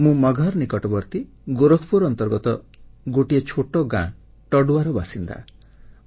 ମୁଁ ମଗହର ନିକଟବର୍ତ୍ତୀ ଗୋରଖପୁର ଅନ୍ତର୍ଗତ ଗୋଟିଏ ଛୋଟ ଗାଁ ଟଡୁଆର ବାସିନ୍ଦା